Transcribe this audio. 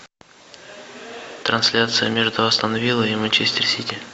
трансляция между астон вилла и манчестер сити